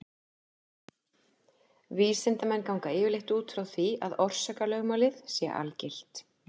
Vísindamenn ganga yfirleitt út frá því að orsakalögmálið sé algilt.